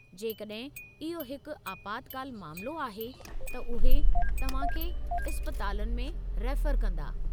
जेकॾहिं इहो हिकु आपातकालु मामिलो आहे त उहे तव्हां खे इस्पतालनि में रेफर कंदा।